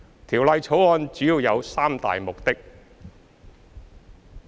《條例草案》主要有三大目的。